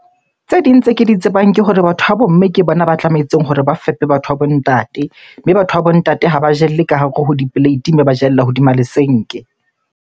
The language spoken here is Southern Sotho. Tse ding tse ke di tsebang ke hore batho ba bo mme ke bona ba tlametseng hore ba fepe batho ba bo ntate. Mme batho ba bo ntate ha ba jelle ka hare ho di-plate mme ba jella hodima lesenke.